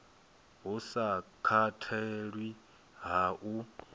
hu sa katelwi ha u